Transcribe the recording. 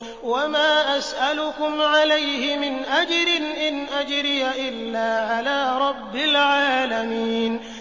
وَمَا أَسْأَلُكُمْ عَلَيْهِ مِنْ أَجْرٍ ۖ إِنْ أَجْرِيَ إِلَّا عَلَىٰ رَبِّ الْعَالَمِينَ